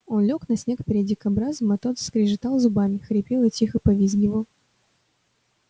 он лёг на снег перед дикобразом а тот скрежетал зубами хрипел и тихо повизгивал